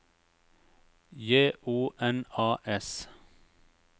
J O N A S